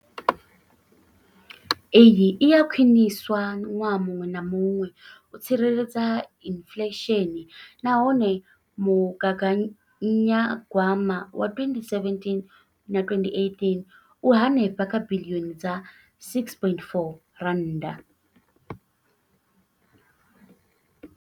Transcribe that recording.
Iyi i a khwiniswa ṅwaha muṅwe na muṅwe u tsireledza inflesheni nahone mugaganya gwama wa 2017 na 2018 u henefha kha biḽioni dza R6.4.